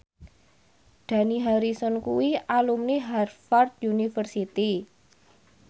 Dani Harrison kuwi alumni Harvard university